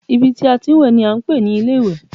Ibi tí a ti ń wẹ̀ ni a ń pè ní ilé ìwẹ̀